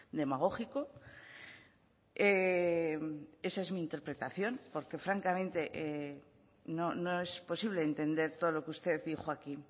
demagógico esa es mi interpretación porque francamente no es posible entender todo lo que usted dijo aquí